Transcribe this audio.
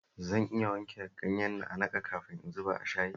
Zan iya wanke ganyen na'a-na'an kafin in zuba a shayin?